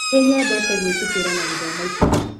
Nĩ nyendete gũitufĩra na gũthoma ibuku